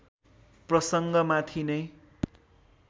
प्रसङ्ग माथि नै